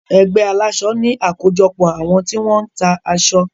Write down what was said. Ẹgbé aláṣọ ní àkójọpọ̀ àwọn tí wọ́n ń ta aṣọ.